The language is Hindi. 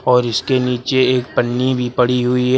और इसके नीचे एक पन्नी भी पड़ी हुई है।